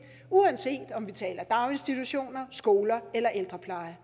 uanset om vi taler daginstitutioner skoler eller ældrepleje